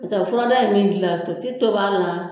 N'o ɛ furada in bɛ dilan to ti tobi a la